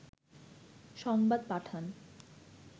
সংবাদ পাঠান